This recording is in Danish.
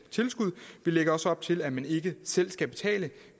vi lægger også op til at man ikke selv skal betale